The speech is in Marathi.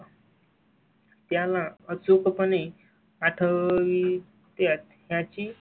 त्याला अचूक पणे आठवी त्यात ची.